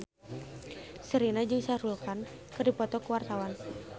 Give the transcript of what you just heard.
Sherina jeung Shah Rukh Khan keur dipoto ku wartawan